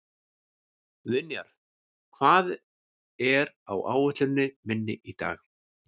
Vinjar, hvað er á áætluninni minni í dag?